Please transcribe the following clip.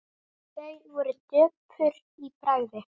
Þau voru döpur í bragði.